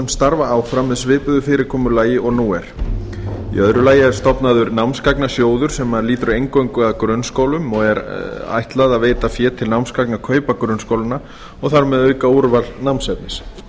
starfa áfram með svipuðu fyrirkomulagi og nú er í öðru lagi er stofnaður námsgagnasjóður sem lýtur eingöngu að grunnskólum og er ætlað að veita fé til námsgagnakaupa grunnskólanna og þar með auka úrval námsefnis